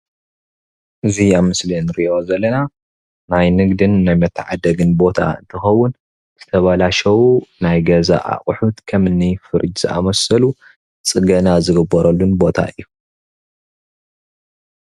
እዚ ኣብ ምስሊ እንርእዮ ዘለና ናይ ንግድን ናይ መታዓደግን ቦታ እንትኾውን ዝተበላሸው ናይ ገዛ ኣቑሑት ከምኒ ፍሪጅ ዝኣመሰሉ ፅገና ዝግበረሉን ቦታ እዩ።